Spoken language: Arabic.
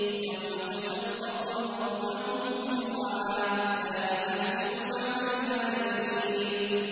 يَوْمَ تَشَقَّقُ الْأَرْضُ عَنْهُمْ سِرَاعًا ۚ ذَٰلِكَ حَشْرٌ عَلَيْنَا يَسِيرٌ